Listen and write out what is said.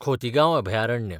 कोतीगांव अभयारण्य